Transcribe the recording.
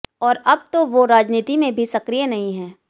और अब तो वो राजनीति में भी सक्रिय नहीं हैं